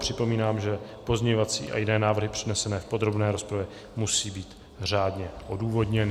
Připomínám, že pozměňovací a jiné návrhy přednesené v podrobné rozpravě musí být řádně odůvodněny.